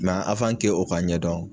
Nka o ka ɲɛdɔn